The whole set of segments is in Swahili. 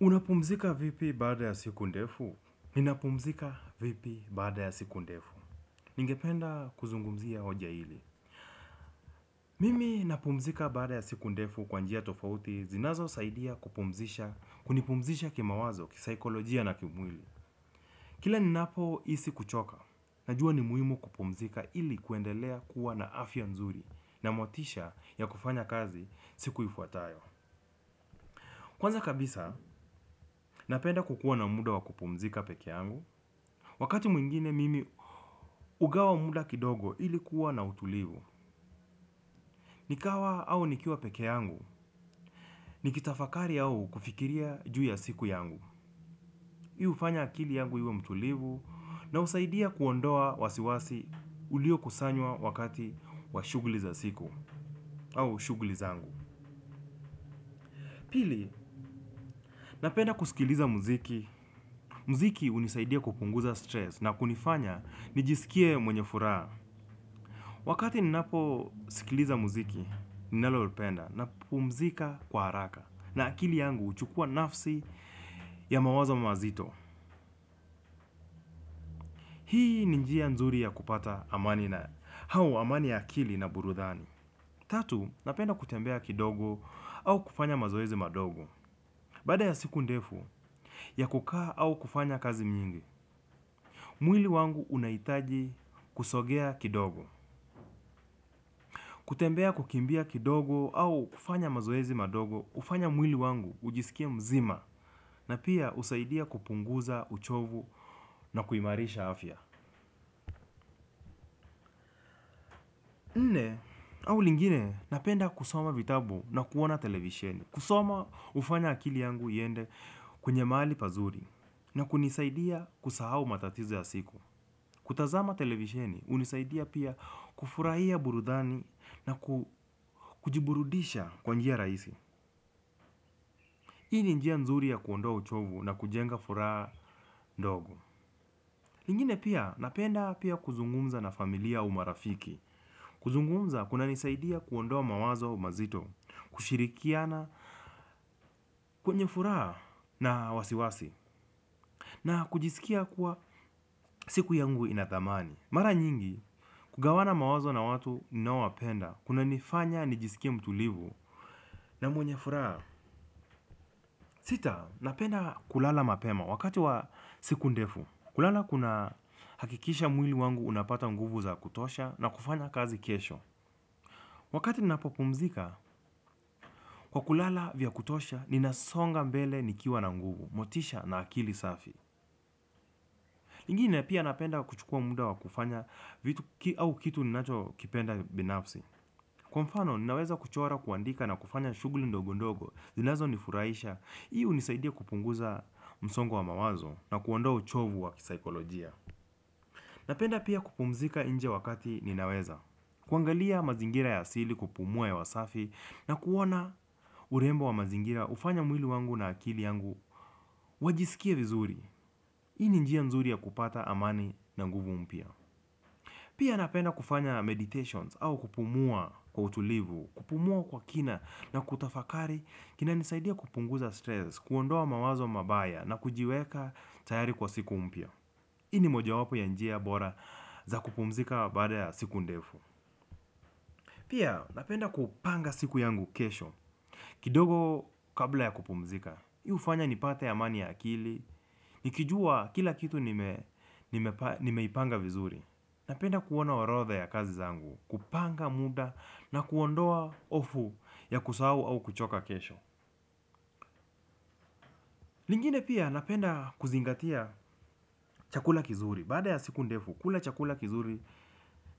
Unapumzika vipi baada ya siku ndefu? Minapumzika vipi baada ya siku ndefu? Ningependa kuzungumzia hoja hili. Mimi napumzika baada ya siku ndefu kwanjia tofauti zinazo saidia kupumzisha kunipumzisha kima wazo, kisaikolojia na kimwili. Kila ninapo isi kuchoka. Najua ni muhimu kupumzika ili kuendelea kuwa na afya nzuri na motisha ya kufanya kazi sikuifuatayo. Kwanza kabisa, napenda kukua na muda wa kupumzika peke yangu. Wakati mwingine mimi ugawa muda kidogo ilikuwa na utulivu. Nikawa au ni kiwa peke yangu, nikitafakari au kufikiria juu ya siku yangu. Hii hufanya akili yangu iwe mtulivu, na husaidia kuondoa wasiwasi uliokusanywa wakati wa shughuli za siku, aushughli zangu. Pili, napenda kusikiliza muziki. Mziki unisaidia kupunguza stress na kunifanya nijisikie mwenye furaa. Wakati ninaposikiliza muziki, ninalopenda napumzika kwa haraka na akili yangu huchukua nafsi ya mawazo mazito. Hii ni njia nzuri ya kupata amani na hau ya akili na burudhani. Tatu, napenda kutembea kidogo au kufanya mazoezi madogo. Baada ya siku ndefu ya kukaa au kufanya kazi nyingi, mwili wangu unaitaji kusogea kidogo. Kutembea, kukimbia kidogo au kufanya mazoezi madogo hufanya mwili wangu ujisikie mzima na pia usaidia kupunguza uchovu na kuimarisha afya. Nne, au lingine napenda kusoma vitabu na kuona televisheni. Kusoma ufanya akili yangu iende kwenye maali pazuri na kunisaidia kusahau matatizo ya siku. Kutazama televisheni, unisaidia pia kufurahia burudani na kujiburudisha kwanjia raisi. Hii ni njia nzuri ya kuondoa uchovu na kujenga furaha ndogo. Ingine pia, napenda pia kuzungumza na familia au marafiki. Kuzungumza, kuna nisaidia kuondoa mawazo mazito, kushirikia na kwenye furaha na wasiwasi, na kujisikia kuwa siku yangu inathamani. Mara nyingi, kugawana mawazo na watu ninaowapenda, kuna nifanya nijisikie mtulivu na mwenye furaha. Sita, napenda kulala mapema wakati wa siku ndefu. Kulala kuna hakikisha mwili wangu unapata nguvu za kutosha na kufanya kazi kesho. Wakati nina po pumzika, kwa kulala vya kutosha, nina songa mbele nikiwa na nguvu, motisha na akili safi ingine pia napenda kuchukua muda wa kufanya vitu au kitu ninacho kipenda binafsi. Kwa mfano, ninaweza kuchora kuandika na kufanya shughuli ndogo ndogo, zinazonifuraisha. Ii unisaidia kupunguza msongo wa mawazo na kuondoa uchovu wa kisaikolojia. Napenda pia kupumzika inje wakati ninaweza. Kuangalia mazingira ya asili kupumua ya hewasafi na kuona urembo wa mazingira ufanya mwili wangu na akili yangu wajisikia vizuri ii ni njia nzuri ya kupata amani na guvu mpya. Pia napenda kufanya meditations au kupumua, kwa utulivu. Kupumua kwa kina na kutafakari kina nisaidia kupunguza stress, kuondoa mawazo mabaya na kujiweka tayari kwa siku mpya. Ii ni moja wapo ya njia bora za kupumzika baada ya siku ndefu. Pia, napenda kupanga siku yangu kesho kidogo, kabla ya kupumzika. Hii ufanya ni pate amani ya akili, nikijua kila kitu ni meipanga vizuri. Napenda kuona orotha ya kazi zangu, kupanga muda na kuondoa ofu ya kusahau au kuchoka kesho. Lingine pia, napenda kuzingatia chakula kizuri. Baada ya siku ndefu kula chakula kizuri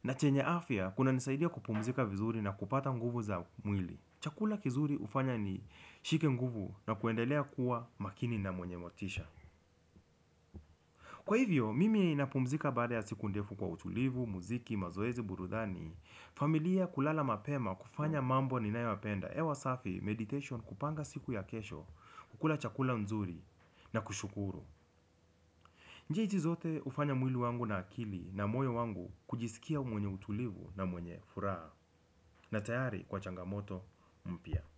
na chenye afya kunanisaidia kupumzika vizuri na kupata nguvu za mwili. Chakula kizuri hufanya ni shike nguvu na kuendelea kuwa makini na mwenye motisha. Kwa hivyo, mimi, napumzika baada ya siku ndefu kwa utulivu, muziki, mazoezi, burudani. Familia, kulala mapema kufanya mambo ninayo yapenda hewa safi, meditation, kupanga siku ya kesho, kukula chakula nzuri na kushukuru. Njia hitz zote ufanya mwili wangu na akili na moyo wangu kujisikia mwenye utulivu na mwenye furaha. Na tayari kwa changamoto mpya.